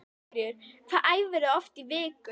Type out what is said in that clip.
Sigríður: Hvað æfirðu oft í viku?